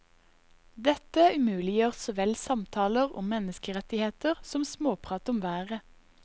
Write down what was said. Dette umuliggjør såvel samtaler om menneskerettigheter som småprat om været.